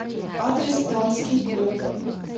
адрес дамский клуб